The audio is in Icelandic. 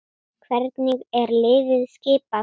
Hvernig er liðið skipað?